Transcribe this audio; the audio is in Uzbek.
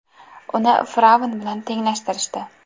Uni fir’avn bilan tenglashtirishdi.